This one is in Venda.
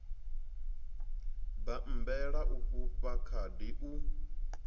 bammbela u fhufha khadi u